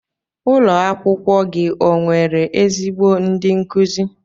Ụlo akwụkwọ gi onwere ezigbo ndi nkuzi?